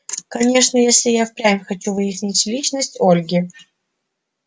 конечно если я впрямь хочу выяснить личность ольги